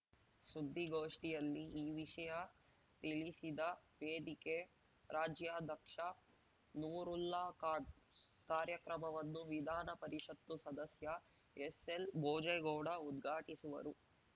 ಸುದ್ದಿಗೋಷ್ಟಿಯಲ್ಲಿ ಈ ವಿಷಯ ತಿಳಿಸಿದ ವೇದಿಕೆ ರಾಜ್ಯಾಧಕ್ಷ ನೂರುಲ್ಲಾ ಖಾನ್‌ ಕಾರ್ಯಕ್ರಮವನ್ನು ವಿಧಾನ ಪರಿಷತ್ತು ಸದಸ್ಯ ಎಸ್‌ಎಲ್‌ ಭೋಜೇಗೌಡ ಉದ್ಘಾಟಿಸುವರು